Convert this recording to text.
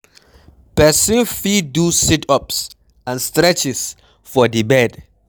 Person fit do sit ups and streches for di bed